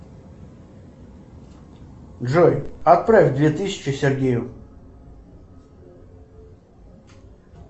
джой отправь две тысячи сергею